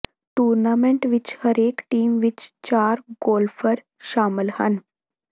tournament ਵਿਚ ਹਰੇਕ team ਵਿਚ ਚਾਰ ਗੋਲਫਰ ਸ਼ਾਮਲ ਹਨ